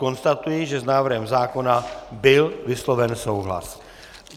Konstatuji, že s návrhem zákona byl vysloven souhlas.